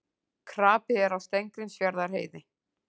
Krapi er á Steingrímsfjarðarheiði